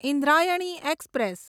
Indrayani express